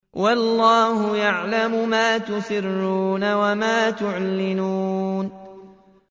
وَاللَّهُ يَعْلَمُ مَا تُسِرُّونَ وَمَا تُعْلِنُونَ